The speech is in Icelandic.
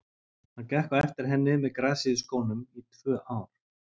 Hann gekk á eftir henni með grasið í skónum í tvö ár.